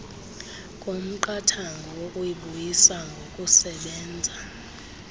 komqathango wokuyibuyisa ngokusebenza